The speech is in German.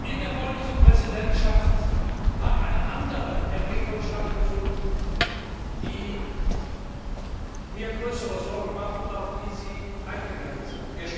In der polnischen Präsidentschaft hat eine andere Entwicklung stattgefunden, die mir größere Sorgen macht und auf die Sie eingegangen sind.